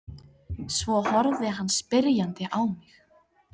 Svo horfði hann spyrjandi á mig.